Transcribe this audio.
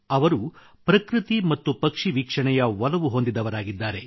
ಅವರು ಪ್ರಕೃತಿ ಮತ್ತು ಪಕ್ಷಿ ವೀಕ್ಷಣೆಯ ಒಲವು ಹೊಂದಿದವರಾಗಿದ್ದಾರೆ